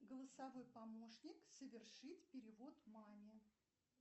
голосовой помощник совершить перевод маме